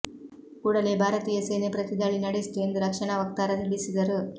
ಕೂಡಲೇ ಭಾರತೀಯ ಸೇನೆ ಪ್ರತಿದಾಳಿ ನಡೆಸಿತು ಎಂದು ರಕ್ಷಣಾ ವಕ್ತಾರ ತಿಳಿಸಿದರು